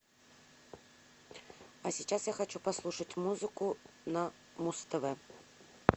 а сейчас я хочу послушать музыку на муз тв